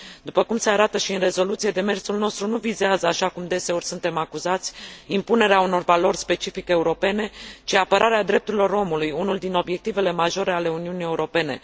După cum se arată și în rezoluție, demersul nostru nu vizează, așa cum deseori suntem acuzați, impunerea unor valori specific europene, ci apărarea drepturilor omului, unul din obiectivele majore ale Uniunii Europene.